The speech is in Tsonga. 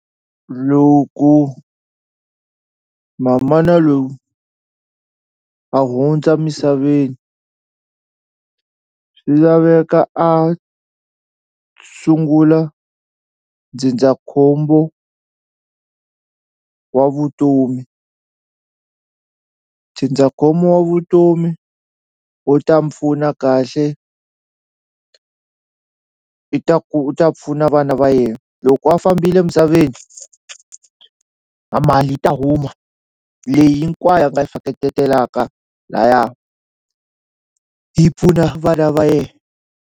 Loku mamana loyi a hundza misaveni swi laveka a sungula ndzindzakhombo wa vutomi, ndzindzakhombo wa vutomi wu ta mu pfuna kahle i ta u ta pfuna vana va yena loko a fambile misaveni a mali yi ta huma leyi hinkwayo a nga laya yi pfuna vana va yena.